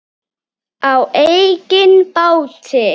Á eigin báti.